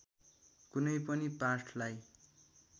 कुनै पनि पाठलाई